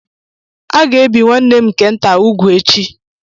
A ga-ebi nwanne m nke nta úgwù echi.